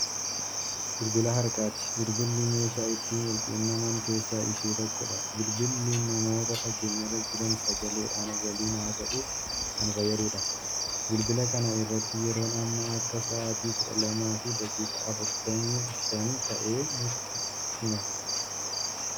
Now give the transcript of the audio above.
Bilbilaa harkaati. bilbilli meeshaa ittiin walqunnaman keessaa ishee tokkoodha. bilbilli namoota fageenyarra Jiran sagaleeedhaan waliin haasa'uuf Kan fayyaduudha. bilbila kana irratti yeroon Amma Akka sa'aatii kudha lamaafi daqiiqaa afurtamii Shan ta'e nutti hima.